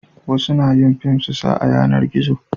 wasu na yin fim su sa a yanar gizo